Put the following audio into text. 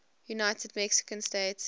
united mexican states